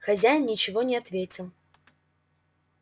хозяин ничего не ответил